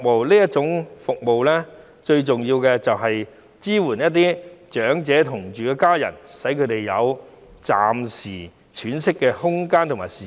這種服務最重要就是要支援與長者同住的家人，使他們有暫時喘息的空間和時間。